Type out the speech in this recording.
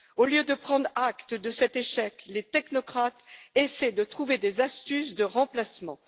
Au lieu de prendre acte de cet échec, les technocrates essaient de trouver des astuces de remplacement.